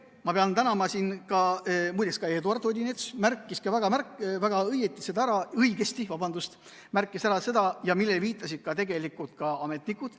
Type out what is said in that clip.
Ma pean tänama siin muide ka Eduard Odinetsi, kes märkis seda, millele viitasid tegelikult ka ametnikud.